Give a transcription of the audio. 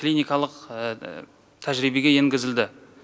клиникалық тәжірибеге енгізілді